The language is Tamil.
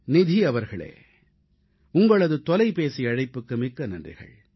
நிதி அவர்களே உங்களது தொலைபேசி அழைப்புக்கு மிக்க நன்றி